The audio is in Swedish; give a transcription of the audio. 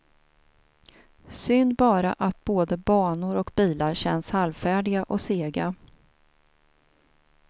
Synd bara att både banor och bilar känns halvfärdiga och sega.